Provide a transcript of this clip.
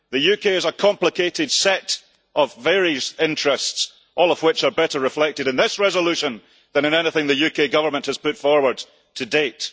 the UK is a complicated set of various interests, all of which are better reflected in this resolution than in anything the UK Government has put forward to date.